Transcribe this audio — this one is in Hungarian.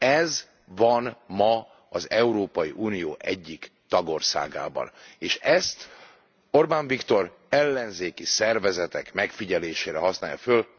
Ez van ma az Európai Unió egyik tagországában, és ezt Orbán Viktor ellenzéki szervezetek megfigyelésére használja föl.